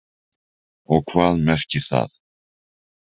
Og hvað merkir það?